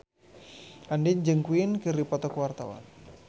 Andien jeung Queen keur dipoto ku wartawan